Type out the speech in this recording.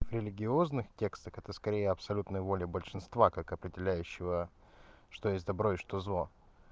религиозных текстах это скорее абсолютной воли большинства как определяющего что есть добро и что зло